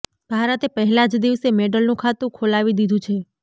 ભારતે પહેલા જ દિવસે મેડલનું ખાતું ખોલાવી દીધું છે